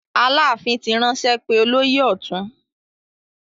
Aláàfin ti ránṣẹ́ pé olóyè ọ̀tún.